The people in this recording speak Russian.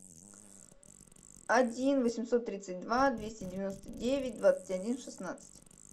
один восемьсот тридцать два двести девяносто девять двадцать один шестнадцать